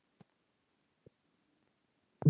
Í seinni tíð hef ég kynnst þeim meira.